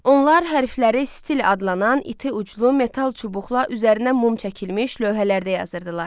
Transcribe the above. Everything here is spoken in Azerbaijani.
Onlar hərfləri stil adlanan iti uclu metal çubuqla üzərinə mum çəkilmiş lövhələrdə yazırdılar.